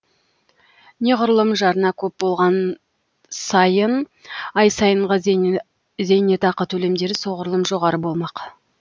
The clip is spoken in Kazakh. неғұрлым жарна көп болған сайын ай сайынғы зейнетақы төлемдері соғұрлым жоғары болмақ